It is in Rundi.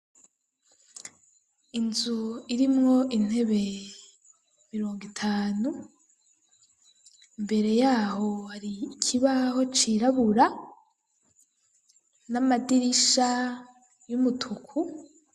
Inzu irimwo intebe mirongo itanu, mbere yaho hari ikibaho cirabura, n'amadirisha y'umutuku